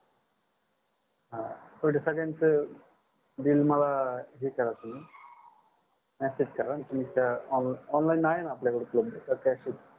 हा एवढं सगळ्याच bill मला हे करा तुम्ही message आणि तुमच्या online आहे ण आपल्याकडे उपलंबद्ध का cash देऊ